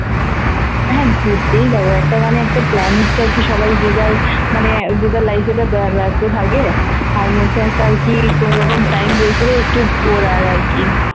হ্যাঁ ঘুরতেই যাবো একটা মানে একটা plan হচ্ছে আরকি সবাই যে যার মানে যে যার life এ তো ব্যস্ত থাকে তার মধ্যে একটা কি তোর ওরকম time বের করে একটু ঘোরা আরকি